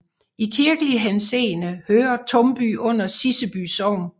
I kirkelig henseende hører Tumby under Siseby Sogn